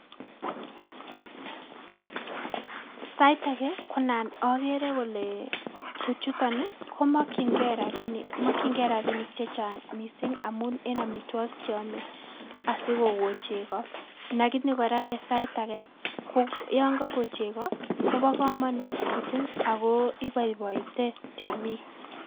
Sait age konan okere ole tuchuton komokyingei rabini mokyingei rabinik chechang' missing' amun en omituogik cheome asikoko chego nagini kora en sait age yon koko chego kobo komonut missing' ago iboiboite temik.